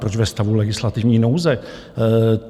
Proč ve stavu legislativní nouze?